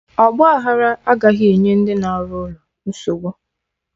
Ọgba aghara agaghị enye ndị na-arụ ụlọ nsogbu